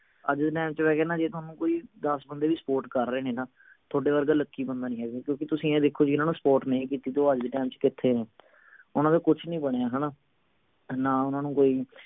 ਅੱਜ ਦੇ ਟੈਮ ਚ ਮੈਂ ਕਹਿਣਾ ਜੇ ਕੋਈ ਥੋਨੂੰ ਦੱਸ ਬੰਦੇ ਵੀ support ਕਰ ਰਹੇ ਨਾ ਥੋਡੇ ਵਰਗਾ lucky ਬੰਦਾ ਨਹੀਂ ਹੈਗਾ ਕੋਈ ਕਿਓਂਕਿ ਤੁਸੀਂ ਇਹ ਦੇਖੋ ਜਿੰਨਾ ਨੂੰ support ਨਹੀਂ ਕੀਤੀ ਉਹ ਅੱਜ ਦੇ ਦਿਨ ਚ ਕਿਥੇ ਨੇ ਓਹਨਾ ਦਾ ਕੁਛ ਨਹੀਂ ਬਣਿਆ ਹਣਾ ਨਾ ਓਹਨਾ ਨੂੰ ਕੋਈ